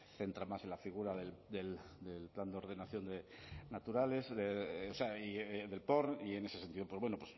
centrar más en la figura del plan de ordenación de naturales o sea del porn y en ese sentido pues bueno